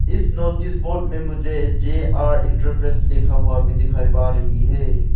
इस notice board में मुझे जे_आर इंटरप्रेस लिखा हुआ अभी दिखाई पा रही है।